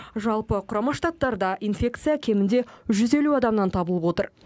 жалпы құрама штаттарда инфекция кемінде жүз елу адамнан табылып отыр